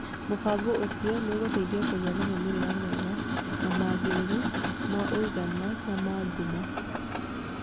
Mũbango ũcio nĩ ũgũteithagia kũgĩa na moimĩrĩro mega na magĩrĩru ma ũigana na ma ngumo.